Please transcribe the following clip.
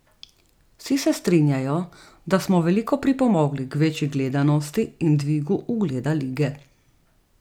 Vsi se strinjajo, da smo veliko pripomogli k večji gledanosti in dvigu ugleda lige.